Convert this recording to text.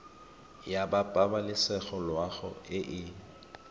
ya pabalesego loago e e